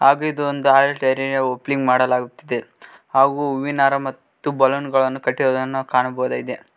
ಹಾಗು ಇದು ಒಂದು ಹಾಲಿ ಡೈರಿಯ ಓಪನಿಂಗ್ ಮಾಡಲಾಗುತ್ತಿದೆ ಹಾಗು ಹೂವಿನ ಹಾರ ಮತ್ತು ಬಲೂನ್ ಗಳನ್ನು ಕಟ್ಟಿರುವುದನ್ನು ನಾವು ಕಾಣಬಹುದಾಗಿದೆ.